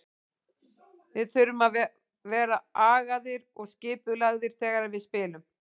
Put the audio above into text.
Við þurfum að vera agaðir og skipulagðir þegar við spilum.